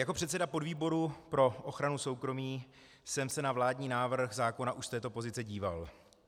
Jako předseda podvýboru pro ochranu soukromí jsem se na vládní návrh zákona už z této pozice díval.